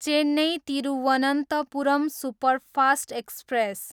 Chennai, Thiruvananthapuram superfast express